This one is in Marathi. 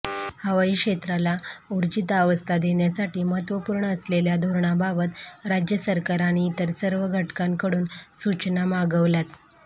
हवाई क्षेत्राला ऊर्जितावस्था देण्यासाठी महत्त्वपूर्ण असलेल्या धोरणाबाबत राज्य सरकार आणि इतर सर्व घटकांकडून सूचना मागवल्यात